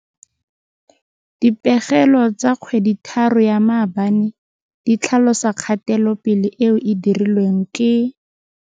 Dipegelo tsa kgweditharo ya maabane di tlhalosa kgatelopele eo e dirilweng ke.